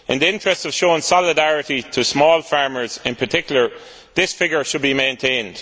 In the interests of showing solidarity with small farmers in particular, this figure should be maintained.